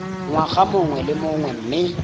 ngwaga mongwe le mongwe mme